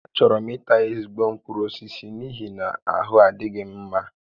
Achọrọ m ita ezigbo mkpụrụ osisi n'ihi na ahụ adịghị m mma